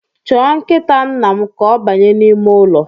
Chọọ nkita nnam ka ọ banye n’ime ụlọ